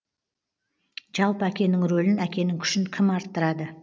жалпы әкенің рөлін әкенің күшін кім арттырады